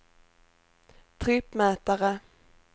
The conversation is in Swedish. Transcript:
trippmätare